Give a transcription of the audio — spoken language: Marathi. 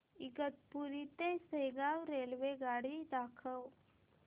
इगतपुरी ते शेगाव रेल्वेगाडी दाखव